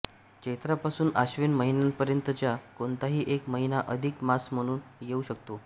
चैत्रापासून आश्विन महिन्यांपर्यंतचा कोणताही एक महिना अधिक मास म्हणून येऊ शकतो